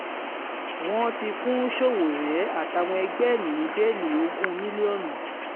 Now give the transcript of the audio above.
wọ́n ti fún sowore àtàwọn ẹgbẹ́ ẹ̀ ní bẹ́ẹ̀lì ogún mílíọ̀nù